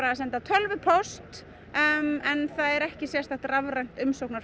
að senda tölvupóst en það er ekki sérstakt rafrænt